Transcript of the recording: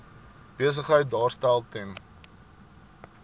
besigheid daarstel ten